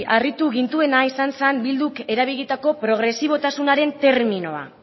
harritu gintuena izan zen bilduk erabilitako progresibotasunaren terminoa